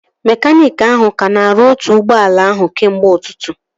Mekaniiki ahụ ka na-arụ otu ụgbọala ahụ kemgbe ụtụtụ